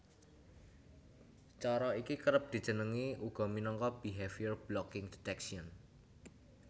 Cara iki kerep dijenengi uga minangka Behavior blocking detection